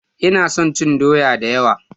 Ina son cin doya da yawa.